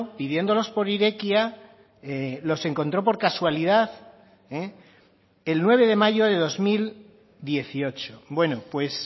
pidiéndolos por irekia los encontró por casualidad el nueve de mayo de dos mil dieciocho bueno pues